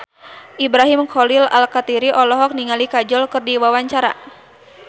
Ibrahim Khalil Alkatiri olohok ningali Kajol keur diwawancara